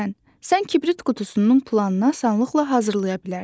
Məsələn, sən kibrit qutusunun planını asanlıqla hazırlaya bilərsən.